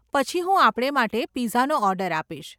પછી હું આપણે માટે પિઝાનો ઓર્ડર આપીશ.